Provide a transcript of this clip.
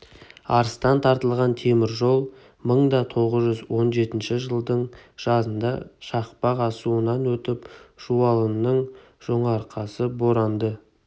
арыстан тартылған темір жол мың да тоғыз жүз он жетінші жылдың жазында шақпақ асуынан өтіп жуалының жонарқасы боранды